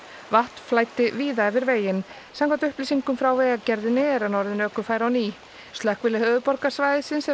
vatn flæddi víða yfir veginn samkvæmt upplýsingum frá Vegagerðinni er hann orðinn ökufær á ný slökkvilið höfuðborgarsvæðisins hefur